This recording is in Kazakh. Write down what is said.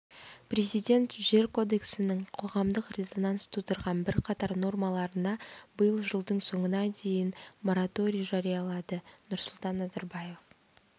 президент жер кодексінің қоғамдық резонанс тудырған бірқатар нормаларына биыл жылдың соңына дейін мораторий жариялады нұрсұлтан назарбаев